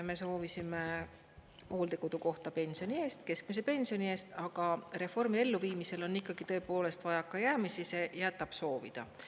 Me soovisime hooldekodukohta pensioni eest, keskmise pensioni eest, aga reformi elluviimisel on tõepoolest vajakajäämisi, see jätab soovida.